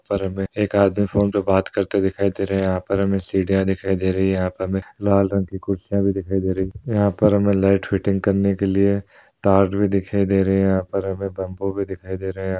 यहाँ पर हमें एक आदमी फोन पे बात करते दिखाई दे रहा है यहाँ पर हमें सिढ़ियाँ दिखाई दे रही हैं यहाँ पर हमें लाल रंग की कुर्सियाँ भी दिखाई दे रही हैं यहाँ पर हमें लाइट फिटिंग करने के लिए तार भी दिखाई दे रहे हैं यहाँ पर हमें बम्बू भी दिखाई दे रहे हैं।